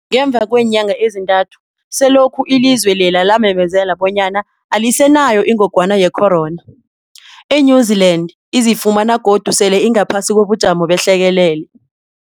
Ngemva kweenyanga ezintathu selokhu ilizwe lela lamemezela bonyana alisenayo ingogwana ye-corona, i-New-Zealand izifumana godu sele ingaphasi kobujamo behlekelele.